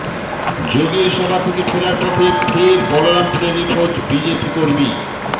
যোগীর সভা থেকে ফেরার পথে ফের বলরামপুরে নিখোঁজ বিজেপি কর্মী